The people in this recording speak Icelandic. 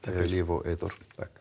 Líf og Eyþór